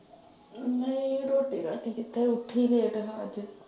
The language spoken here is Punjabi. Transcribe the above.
ਨਈਂ ਰੋਟੀ ਰਾਟੀ ਕਿੱਥੇ ਉੱਠੀ ਲੇਟ ਮੈਂ ਅੱਜ।